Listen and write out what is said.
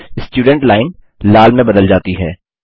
student line लाल में बदल जाती है